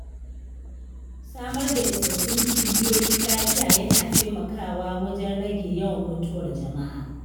Samar da isassun cibiyoyin lafiya yana taimakawa wajen rage yawan mutuwar jama’a.